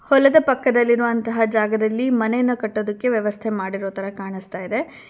ಹೊಲದ ಪಕ್ಕದಲ್ಲಿರುವಂತಹ ಜಾಗದಲ್ಲಿ ಮನೆಯನ್ನ ಕಟ್ಟೋದಕ್ಕೆ ವ್ಯವಸ್ಥೆ ಮಾಡಿರೋ ತರ ಕಾಣಿಸ್ತಾಯಿದೆ.